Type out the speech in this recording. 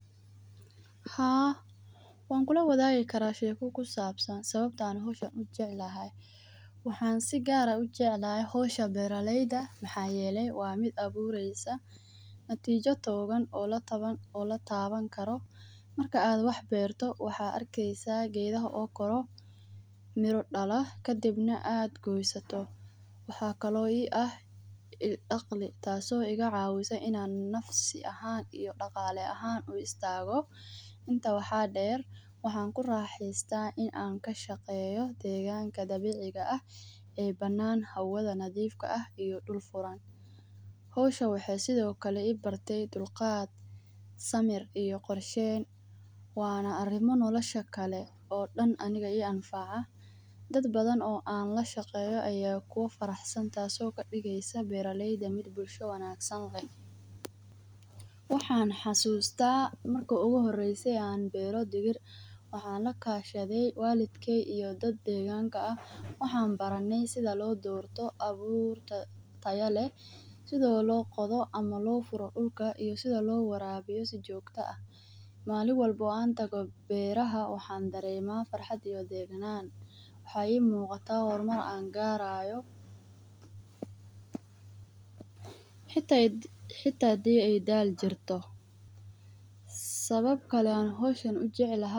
Haa, wankulawadagi karaa sheeko kusabasan sababto aah an meeshan u jeclahay waxan si gaar u jeclahay hawshan beera layda maxa yeele waa mid abureysa natija tooban oo la tawani karo marka aad wax beerto waxad arkaysa geedho oo kaco, miro daalo kadibna aad goosato, waxa kalo i aah daqli taaso ikacawanaysa inan nafsi ahan iyo daqalo aahan u istago inta waaxa deer waxa kuraxesta in aan kashaqeyo deganka dabiciga aah ee banan hawdha na nadif aah iyo duul furaan. Hawshan waxay sikalo i bartay dulqaad, samir iyo qorsheen wana arimo noolasha kale oo daan aniga i anfaca dadbadhan oo an lashaqeyo aya kufaraxsaa taso kadigaysa beer layda mid bulsho wangasan lee. Waxan xasusta marki igu horeyse oo beera dibir waxan lakashadhe walidkay iyo daad deganka aah waxan barane sidha loo dorto abuur taya leeh sidha looqodho ama lo falo dulka iyo sidha loo warabiyo si jooqta ah. Malin walba an tago beeraha waxan darema farxaad iyo deegnan waxa i muqata hormar aan garayo xita haday ay daal jirto.